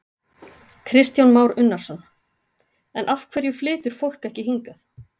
Kristján Már Unnarsson: En af hverju flytur fólk ekki hingað?